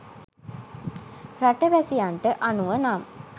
රට වැසියන්ට අනුව නම්